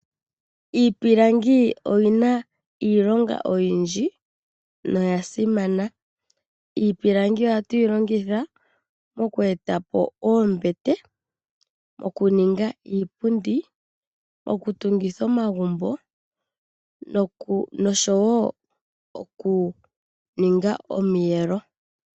Iipilangi oyi na iilonga oyindji noyasimana. Iipilangi ohatu yi longitha mokweeta po oombete, okuninga iipundi, okutungitha omagumbo nosho wo okuninga omiyelo.